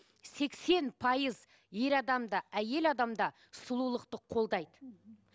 сексен пайыз ер адам да әйел адам да сұлулықты қолдайды